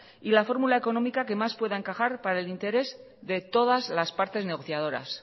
y la fórmula económica que más pueda encajar para el interés de todas las partes negociadoras